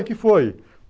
O que foi?